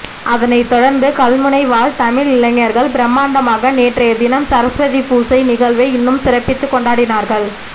அதனை தொடர்ந்து கல்முனை வாழ் தமிழ் இளைஞர்கள் பிரமாண்டமாக நேற்றையதினம் சரஸ்வதி பூசை நிகழ்வை இன்னும் சிறப்பித்து கொண்டாடினார்கள்